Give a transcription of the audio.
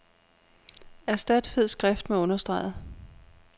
Erstat fed skrift med understreget.